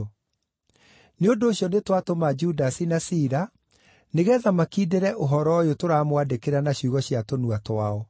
Nĩ ũndũ ũcio nĩtwatũma Judasi na Sila nĩgeetha makindĩre ũhoro ũyũ tũramwandĩkĩra na ciugo cia tũnua twao.